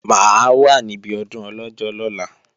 Mà á wà níbi ọdún Ọlọ́jọ́ lọ́la